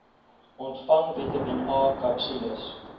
ontvang vitamien akapsules